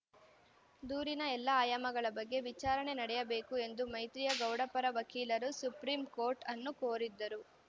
ದೂರಿನ ಎಲ್ಲ ಆಯಾಮಗಳ ಬಗ್ಗೆ ವಿಚಾರಣೆ ನಡೆಯಬೇಕು ಎಂದು ಮೈತ್ರಿಯಾ ಗೌಡ ಪರ ವಕೀಲರು ಸುಪ್ರೀಂ ಕೋರ್ಟ್‌ ಅನ್ನು ಕೋರಿದ್ದರು